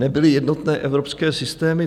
Nebyly jednotné evropské systémy.